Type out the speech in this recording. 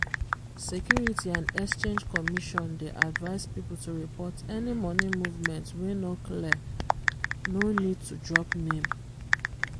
security and exchange commission dey advise people to report any money movement wey no cleare no need to drop name